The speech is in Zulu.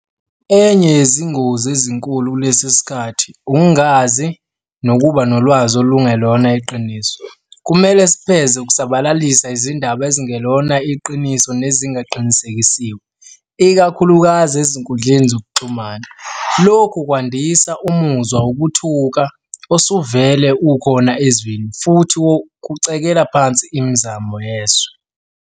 Enye yezingozi ezinkulu kulesi sikhathi ukungazi nokuba nolwazi olungelona iqiniso. Kumele sipheze ukusabalalisa izindaba ezingelona iqiniso nezingaqinisekisiwe, ikakhulukazi ezinkundleni zokuxhumana. Lokhu kwandisa umuzwa wokuthuka osuvele ukhona ezweni futhi kucekela phansi imizamo yezwe.